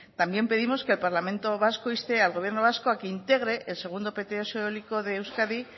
también pedimos que el parlamento vasco inste al gobierno vasco a que integre el segundo pts eólico de euskadi